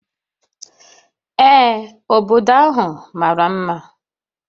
Ee, obodo ahụ mara mma